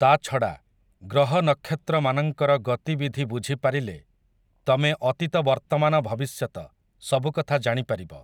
ତା'ଛଡ଼ା, ଗ୍ରହ ନକ୍ଷତ୍ରମାନଙ୍କର ଗତିବିଧି ବୁଝି ପାରିଲେ, ତମେ ଅତୀତ ବର୍ତ୍ତମାନ ଭବିଷ୍ୟତ ସବୁକଥା ଜାଣି ପାରିବ ।